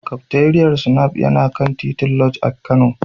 Kafteriyar Snaf yana kan titin Lodge a Kano.